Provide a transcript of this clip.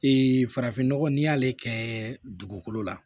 farafinnɔgɔ n'i y'ale kɛ dugukolo la